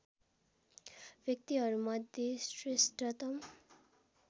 व्यक्तिहरूमध्ये श्रेष्ठतम